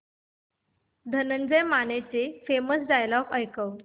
धनंजय मानेचे famous dialogue ऐकव